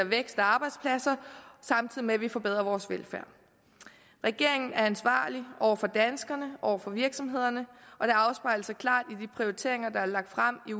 vækst og arbejdspladser samtidig med at vi forbedrer vores velfærd regeringen er ansvarlig over for danskerne over for virksomhederne og det afspejler sig klart i de prioriteringer der er lagt frem i